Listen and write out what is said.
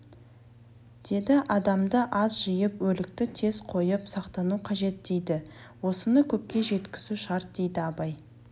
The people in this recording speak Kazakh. деді адамды аз жиып өлікті тез қойып сақтану қажет дейді осыны көпке жеткізу шарт дейді абай